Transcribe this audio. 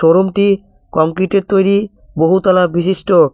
শোরুমটি কংক্রিটের তৈরি বহুতলা বিশিষ্ট।